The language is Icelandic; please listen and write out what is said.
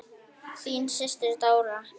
Þín systir, Dóra.